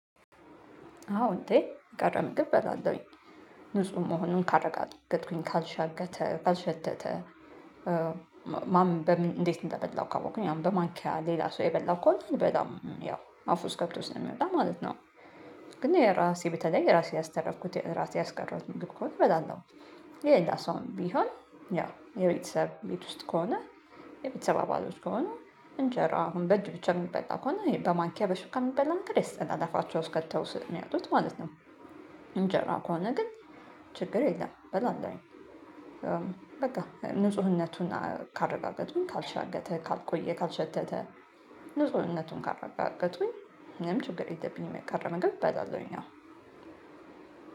አዎ እንዴ የቀረ ምግብ እበላለሁኝ ንጹህ መሆኑን ካረጋገጥኩኝ ካልሻገተ ካልሸተተ። ማን በምን እንዴት እንደበላው ካወቅኩኝ አሁን በማንኪያ ሌላ ሰው የበላው ከሆነ አልበላም ያው አፉ ውስጥ ገብቶ ስለሚወጣ ማለት ነው። ግን የራሴ በተለይ ራሴ ያስተረፍኩት ራሴ ያስቀረውት ምግብ ከሆነ እበላለሁ። የሌላ ሰውም ቢሆን ያው የቤተሰብ ቤት ውስጥ ከሆነ የቤተሰብ አባሎች ከሆኑ እንጀራ አሁን በእጅ ብቻ የሚበላ ከሆነ በማንኪያ በሹክ የሚበላ ነገር ያስጠላል አፋቸው ውስጥ ከተው ስለሚያወጡት ማለት ነው። እንጀራ ከሆነ ግን ችግር የለም እበላለሁኝ። በቃ ንጹህነቱን ካረጋገጥኩኝ ካልሻገተ ካልቆየ ካልሸተተ። ንጹህነቱን ካረጋገጥኩኝ ምንም ችግር የለብኝም የቀረምግብ መንገድ እበላለሁኝ አው።